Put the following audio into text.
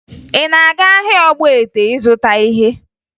Ị na-aga ahịa Ogbete ịzụta ihe?